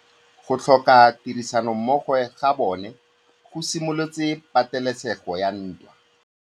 Go tlhoka tirsanommogo ga bone go simolotse patêlêsêgô ya ntwa.